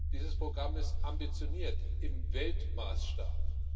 Dieses Programm ist ambitioniert im Weltmaßstab.